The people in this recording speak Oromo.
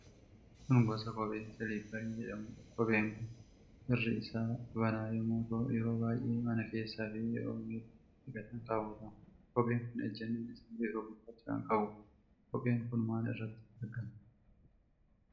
Kun gosa kophee siliipparii jedhamudha. Kopheen kun irri isaa banaa yommuu ta'u, yeroo baay'ee mana keessa fi yeroo miilla dhiqatan kaawwatama. Kopheen kun ejjanni isaa bifa gurraacha kan qabuudha. Kopheen kun maal irratti argama?